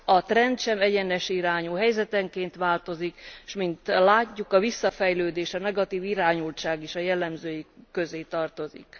A trend sem egyenes irányú, helyzetenként változik, s mint látjuk, a visszafejlődés, a negatív irányultság is a jellemzői közé tartozik.